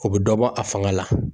O bɛ dɔ bɔ a fanga la.